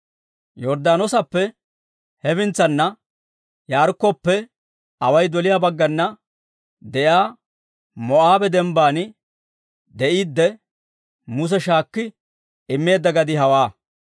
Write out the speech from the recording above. Yorddaanoosappe hefintsana, Yaarikkoppe away doliyaa baggana de'iyaa Moo'aabe dembban de'iidde Muse shaakki immeedda gadii hawaa.